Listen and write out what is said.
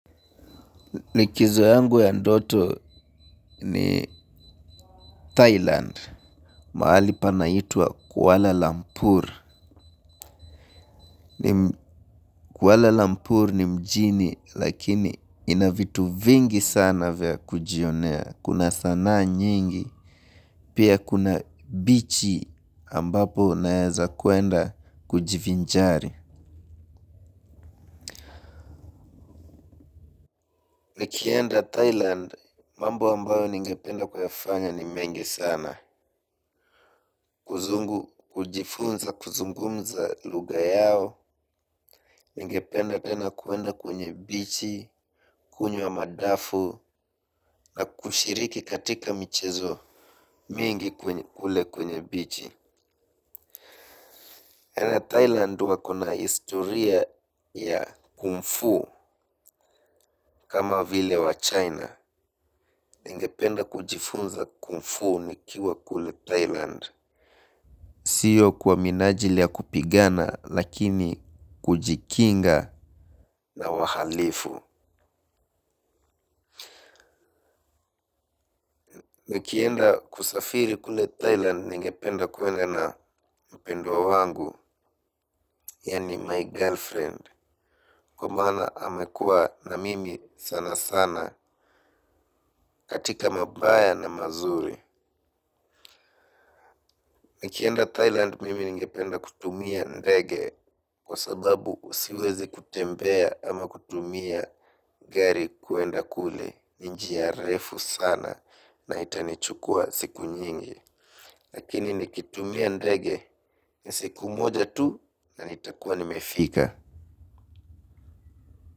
Likizo yangu ya ndoto ni Thailand, mahali panaitwa Kuala Lampur. Kuala Lampur ni mjini, lakini inavitu vingi sana vya kujionea. Kuna sana nyingi, pia kuna bichi ambapo naeza kuenda kujivinjari. Nikienda Thailand, mambo ambayo ningependa kuyafanya ni mengi sana. Kuzungu, kujifunza, kuzungumza luga yao. Ingependa tena kuenda kwenye bichi. Kunywe wa madafu. Na kushiriki katika michezo mingi kule kwenye bichi tena Thailand wako na historia ya kungfu kama vile wa China. Ingependa kujifunza kungfu nikiwa kule Thailand. Siyo kwa minaji lia kupigana lakini kujikinga na wahalifu nikienda kusafiri kule Thailand ningependa kuenda na mpendwa wangu. Yani my girlfriend. Kwa maana amekua na mimi sana sana katika mabaya na mazuri nikienda Thailand mimi ninge penda kutumia ndege. Kwa sababu usiwezi kutembea ama kutumia gari kuenda kule. Njia refu sana na itanichukua siku nyingi. Lakini nikitumia ndege ni siku moja tu na itakuwa nimefika.